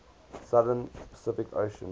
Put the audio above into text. southern pacific ocean